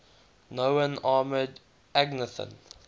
known armoured agnathan